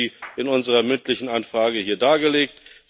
Wir haben sie in unserer mündlichen Anfrage hier dargelegt.